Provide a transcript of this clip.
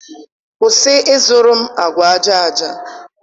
kwụsị ịzụrụ agwa aja aja!